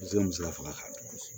faga ka ɲɛ